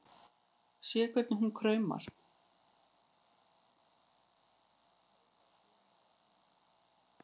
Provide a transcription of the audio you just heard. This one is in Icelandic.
Sé hvernig hún kraumar.